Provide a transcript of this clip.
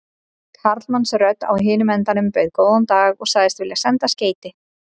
Karlmannsrödd á hinum endanum bauð góðan dag og sagðist vilja senda skeyti.